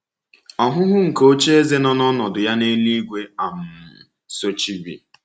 Ọhụhụ nke ocheeze n’ọnọdụ ya n’elúigwe um sochiri.